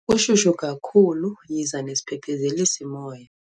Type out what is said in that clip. Kushushu kakhulu yiza nesiphephezelisi somoya.